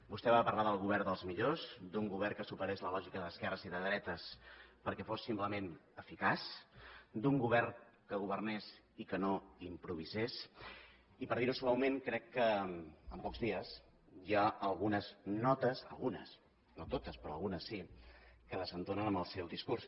vostè va parlar del govern dels millors d’un govern que superés la lògica d’esquerres i de dretes perquè fos simplement eficaç d’un govern que governés i que no improvisés i per dir ho suaument crec que en pocs dies hi ha algunes notes algunes no totes però algunes sí que desentonen amb el seu discurs